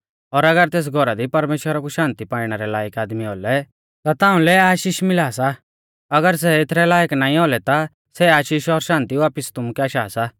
और अगर तेस घौरा दी परमेश्‍वरा कु शान्ति पाइणै रै लायक आदमी औलै ता तिउंलै आशीष मिला सा अगर सै एथरै लायक नाईं औलै ता सै आशीष और शान्ति वापिस तुमुकै आशा सा